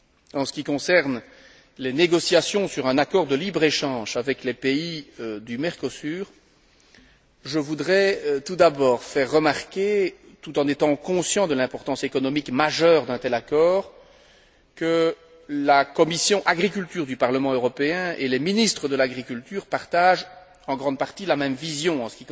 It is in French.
En ce qui concerne les négociations sur un accord de libre échange avec les pays du Mercosur, je voudrais tout d'abord faire remarquer, tout en étant conscient de l'importance économique majeure d'un tel accord, que la commission de l'agriculture du Parlement européen et les ministres de l'agriculture partagent, en grande partie, la même vision quant aux